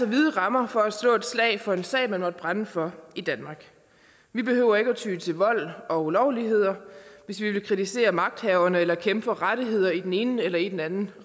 vide rammer for at slå et slag for en sag man måtte brænde for i danmark vi behøver ikke at ty til vold og ulovligheder hvis vi vil kritisere magthaverne eller kæmpe for rettigheder i den ene eller i den anden